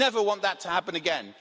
We never want that to happen again.